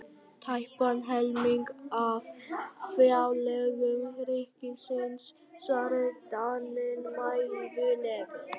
Tæpan helming af fjárlögum ríkisins, svaraði Daninn mæðulega.